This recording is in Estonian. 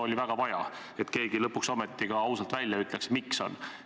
Oli väga vaja, et keegi lõpuks ometi ausalt välja ütleks, miks nii on.